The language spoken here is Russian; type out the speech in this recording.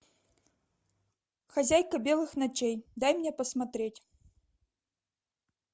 хозяйка белых ночей дай мне посмотреть